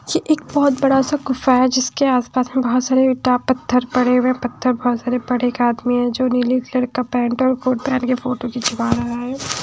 यह एक बहुत बड़ा सा गुफा है जिसके आसपास में बहुत सारे पत्थर पड़े हुए हैं पत्थर बहुत सारे पड़े एक आदमी हैंजो नीले कलर का पेंट और कोट पैंट के फोटो खींचवा रहा है ।